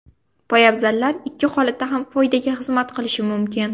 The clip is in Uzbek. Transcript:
Poyabzallar ikki holatda ham foydaga xizmat qilishi mumkin.